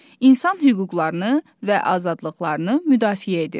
İnsan hüquqlarını və azadlıqlarını müdafiə edir.